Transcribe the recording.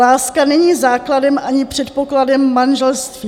Láska není základem ani předpokladem manželství.